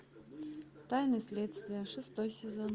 тайны следствия шестой сезон